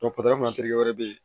wɛrɛ be yen